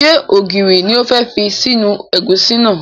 Ṣé ògiri ni o fẹ́ fi sínú ẹ̀gúsí náà?